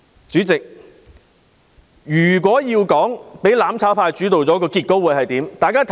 主席，如果"攬炒派"主導議會，結果會如何？